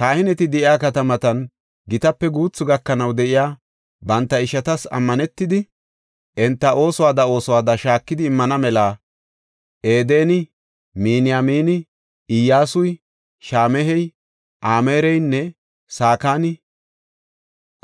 Kahineti de7iya katamatan gitape guuthu gakanaw de7iya banta ishatas ammanetidi, enta oosuwada oosuwada shaakidi immana mela Edeni, Miniyamini, Iyyasuy, Shama7ey, Amaareynne Sakani